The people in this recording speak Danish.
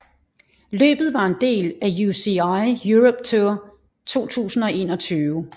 Løbet var en del af UCI Europe Tour 2021